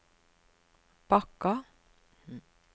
Bakka